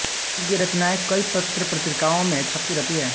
इनकी रचनाएं कई पत्र पत्रिकाओ मे छपती रहती हैं